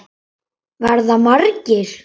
Verða margir?